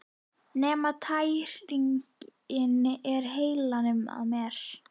Nema tæringin er í heilanum á mér!